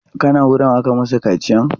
Ka na wurin aka yi masu kaciyan?